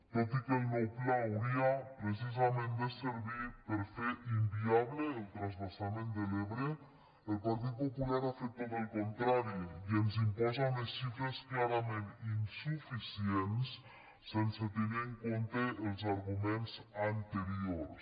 tot i que el nou pla hauria precisament de servir per fer inviable el transvasament de l’ebre el partit popular ha fet tot el contrari i ens imposa unes xifres clarament insuficients sense tenir en compte els arguments anteriors